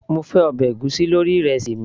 mo fẹ́ ọbẹ̀ ègúsí lórí ìrẹsì mi